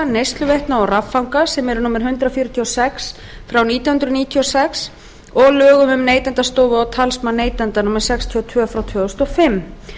neysluveitna og raffanga númer hundrað fjörutíu og sex nítján hundruð níutíu og sex og lögum um neytendastofu og talsmann neytenda númer sextíu og tvö tvö þúsund og fimm